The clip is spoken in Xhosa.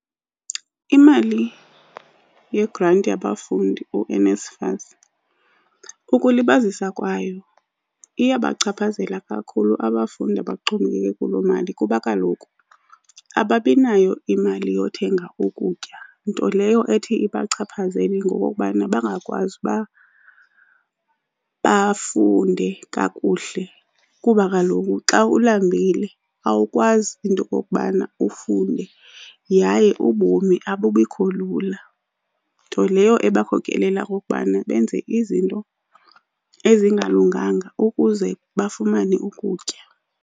Imali yegranti yabafundi uNSFAS, ukulibazisa kwayo iyabachaphazela kakhulu abafundi abaxhomekeke kuloo mali. Kuba kaloku ababi nayo imali yokuthenga ukutya, nto leyo ethi ibachaphazela ngokubana bangakwazi uba bafunde kakuhle. Kuba kaloku xa ulambile awukwazi into yokokubana ufunde yaye ubomi abubikho lula. Nto leyo ebakhokelela okokubana benze izinto ezingalunganga ukuze bafumane ukutya.